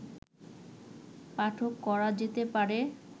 পাঠ করা যেতে পারে